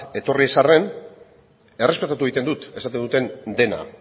etorri ez arren errespetatu egiten dut esaten duten dena